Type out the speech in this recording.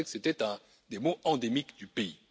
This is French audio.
On sait que c'était un des maux endémiques du pays.